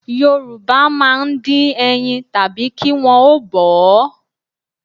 Yorùbá máa ń dín ẹyin tàbí kí wọn ó bọ̀ ọ́